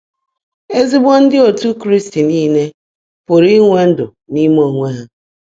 Ezigbo ndị otu Kraịst nile pụrụ inwe ‘ndụ n’ime onwe ha’